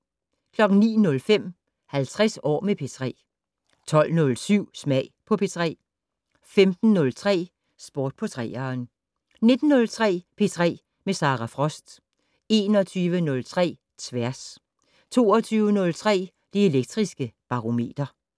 09:05: 50 år med P3 12:07: Smag på P3 15:03: Sport på 3'eren 19:03: P3 med Sara Frost 21:03: Tværs 22:03: Det Elektriske Barometer